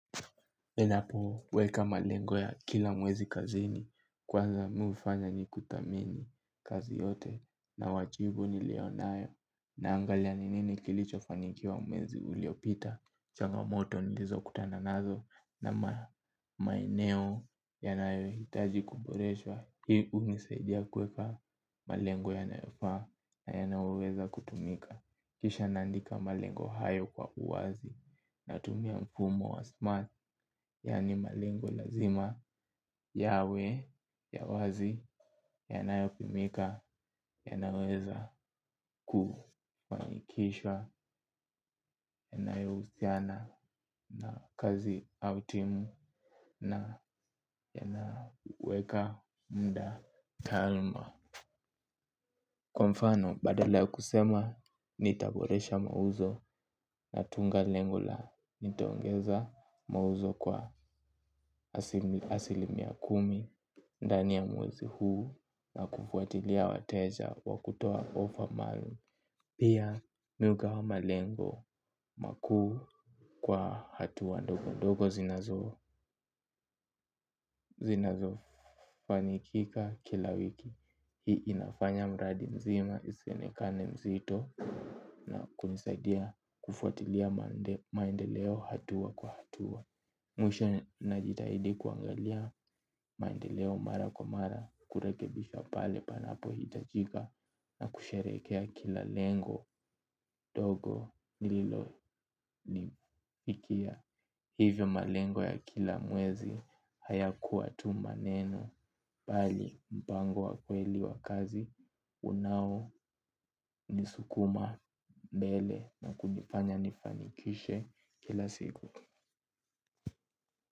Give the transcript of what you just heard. Endapo weka malengo ya kila mwezi kazini kwanza mi hufanya nikutamini kazi yote na wachibu nilio nayo nangalia ni nini kilichofanikiwa mwezi uliopita, changa moto nilizo kutana nazo na maeneo yanayo hitaji kuboreshwa, hii unisaidia kweka malengo yanayofa nayanayo weza kutumika. Kisha naandika malengo hayo kwa uwazi natumia mfumo wa smart yaani malengo lazima yawe ya wazi yanayopimika yanaweza kufanikisha yanayo husiana na kazi au timu na yanaweka muda kalma. Kwa mfano badala ya kusema nitaboresha mauzo na tunga lengo la nitaongeza mauzo kwa asilimia kumi. Ndani ya mwezi huu na kufuatilia wateja wa kutoa overmall. Pia mi hugawa malengo makuu kwa hatua ndogondogo zinazo zinazofanikika kila wiki hii inafanya mradi mzima isionekane mzito na kunisaidia kufuatilia maendeleo hatua kwa hatua. Mwisho najitahidi kuangalia maendeleo mara kwa mara kurekebisha pale panapo hitajika na kusherekea kila lengo dogo nililo ni fikia. Hivyo malengo ya kila mwezi hayakuwa tu maneno bali mpango wa kweli wa kazi unaonisukuma mbele na kunifanya nifanikishe kila siku.